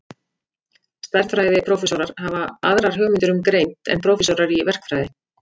Stærðfræðiprófessorar hafa aðrar hugmyndir um greind en prófessorar í verkfræði.